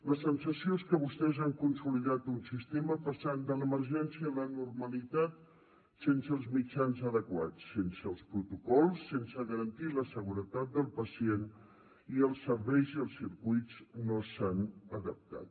la sensació és que vostès han consolidat un sistema passant de l’emergència a la normalitat sense els mitjans adequats sense els protocols sense garantir la seguretat del pacient i els serveis i els circuits no s’han adaptat